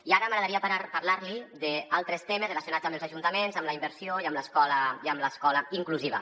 i ara m’agradaria parlar·li d’altres temes relacionats amb els ajuntaments amb la inversió i amb l’escola inclusiva